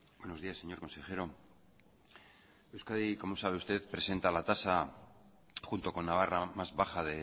buenos días señor consejero euskadi como sabe usted presenta la tasa junto con navarra más baja